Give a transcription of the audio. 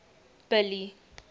billy